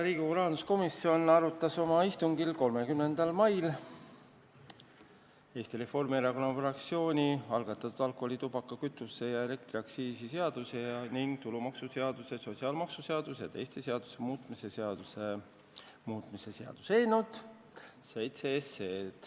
Riigikogu rahanduskomisjon arutas oma istungil 30. mail Eesti Reformierakonna fraktsiooni algatatud alkoholi-, tubaka-, kütuse- ja elektriaktsiisi seaduse ning tulumaksuseaduse, sotsiaalmaksuseaduse ja teiste seaduste muutmise seaduse muutmise seaduse eelnõu.